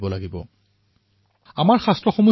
শতিকাপূৰ্বে লিখা আমাৰ শাস্ত্ৰই এইদৰে কয়